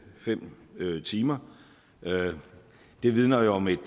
fem timer det vidner jo om et